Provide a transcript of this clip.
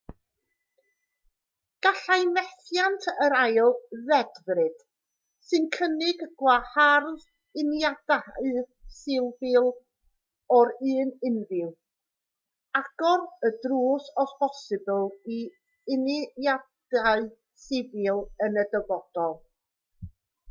gallai methiant yr ail ddedfryd sy'n cynnig gwahardd uniadau sifil o'r un rhyw agor y drws o bosibl i uniadau sifil yn y dyfodol